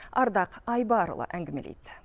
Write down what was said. ардақ айбарұлы әңгімелейді